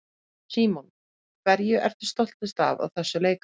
Símon: Hverju ertu stoltust af á þessu leikári?